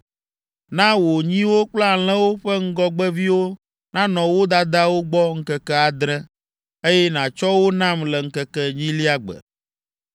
“Na wò nyiwo kple alẽwo ƒe ŋgɔgbeviwo nanɔ wo dadawo gbɔ ŋkeke adre, eye nàtsɔ wo nam le ŋkeke enyilia gbe.